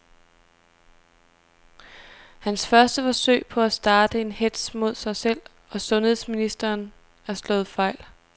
Hans første forsøg på at starte en hetz mod sig selv og sundheds ministeren er slået fejl.